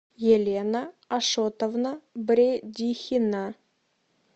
елена ашотовна бредихина